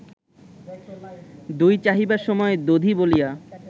দই চাহিবার সময় দধি বলিয়া